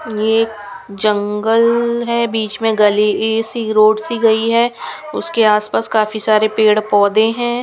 ये जंगल है बीच में गले सी रोड सी गई है उसके आसपास काफी सारे पेड़ पौधे हैं.